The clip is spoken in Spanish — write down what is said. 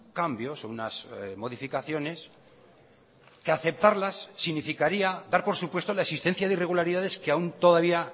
cambios o unas modificaciones que aceptarlas significaría dar por supuesto la existencia de irregularidades que aun todavía